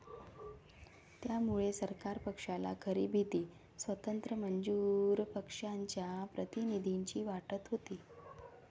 त्यामुळे सरकार पक्षाला खरी भीती स्वतंत्र मजूर पक्षाच्या प्रतिनिधींची वाटत होती